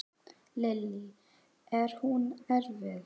Lillý: Er hún erfið?